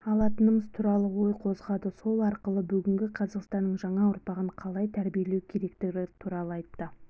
алатынымыз туралы ой қозғады сол арқылы бүгінгі қазақстанның жаңа ұрпағын қалай тәрбиелеу керектігі туралы айтты